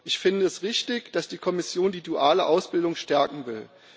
Ich finde es richtig, dass die Kommission die duale Ausbildung stärken will.